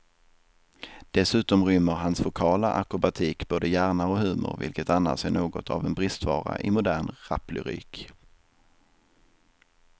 Dessutom rymmer hans vokala akrobatik både hjärna och humor, vilket annars är något av en bristvara i modern raplyrik.